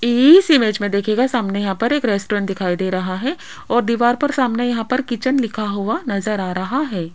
इस इमेज में देखिएगा सामने यहां पर एक रेस्टोरेंट दिखाई दे रहा है और दीवार पर सामने यहां पर किचन लिखा हुआ नजर आ रहा है।